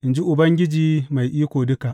in ji Ubangiji Mai Iko Duka.